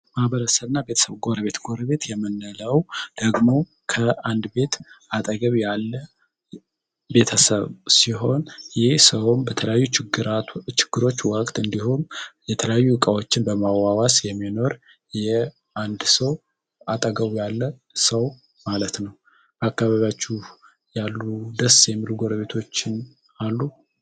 ማህበረስብ እና ቤተሰብ ጎረቤት ጎረቤት የምንለው ደግሞው ከአንድ ቤት አጠገብ ያለ ቤተሰብ ሲሆን ይህ ሰውም በተለያ ችግሮች ዋቅት እንዲሆም የተለያዩ ዕቃዎችን በማዋዋስ የሚኖር አጠገቡ ያለ ሰው ማለት ነው። በአካባቢያዎች ያሉ ደስ የሚሉ ጎርቤቶችን አሉ?